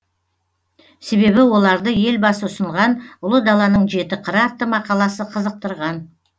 себебі оларды елбасы ұсынған ұлы даланың жеті қыры атты мақаласы қызықтырған